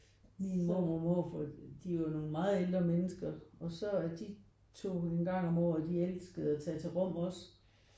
Min mormor og morfar de er jo nogen meget ældre mennesker og så de tog en gang om året de elskede at tage til Rom også